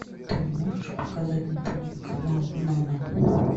ты можешь показать на тв канал нано